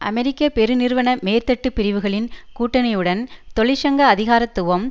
அமெரிக்க பெருநிறுவன மேற்தட்டு பிரிவுகளின் கூட்டணியுடன் தொழிற்சங்க அதிகாரத்துவம்